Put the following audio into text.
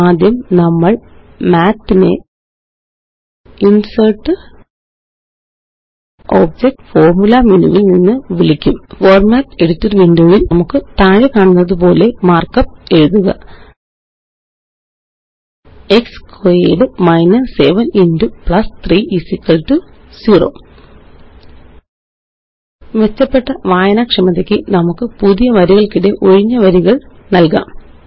ആദ്യം നമ്മള് മാത്ത് നെInsertgtObjectgtFormula മേനു വില് നിന്ന് വിളിക്കും ഫോർമാറ്റ് എഡിറ്റർ വിൻഡോ യില് നമുക്ക് താഴെക്കണുന്നതുപോലെ മാര്ക്കപ്പ് എഴുതുക x squared minus 7 x plus 3 0 മെച്ചപ്പെട്ട വായനാക്ഷമതയ്ക്ക് നമുക്ക് പുതിയ വരികള്ക്കിടെ ഒഴിഞ്ഞ വരികള് നല്കാം